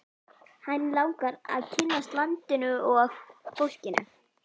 Hann langar að kynnast landinu og fólkinu.